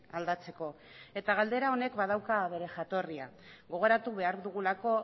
aldatzeko eta galdera honek badauka bere jatorria gogoratu behar dugulako